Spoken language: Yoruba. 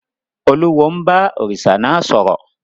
Olúwo ń bá òrìṣà náà sọ̀rọ̀.